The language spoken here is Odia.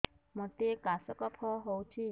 ମୋତେ କାଶ କଫ ହଉଚି